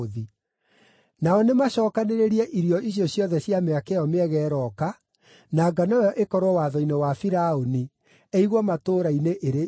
Nao nĩmacookanĩrĩrie irio icio ciothe cia mĩaka ĩyo mĩega ĩrooka, na ngano ĩyo ĩkorwo watho-inĩ wa Firaũni, ĩigwo matũũra-inĩ ĩrĩ irio.